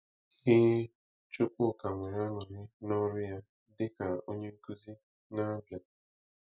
Ee, Chukwuka nwere aṅụrị na ọrụ ya dịka onye nkuzi na Abia.